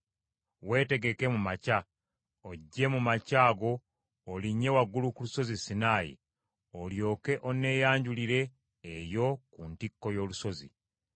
Weetegeke mu makya, ojje mu makya ago olinnye waggulu ku lusozi Sinaayi, olyoke onneeyanjulire eyo ku ntikko y’olusozi.